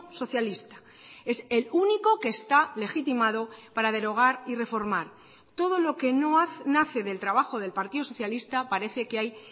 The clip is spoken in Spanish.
socialista es el único que está legitimado para derogar y reformar todo lo que no nace del trabajo del partido socialista parece que hay